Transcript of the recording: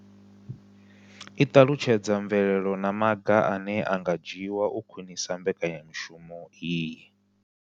I ṱalutshedza mvelelo na maga ane a nga dzhiwa u khwinisa mbekanya mushumo iyi.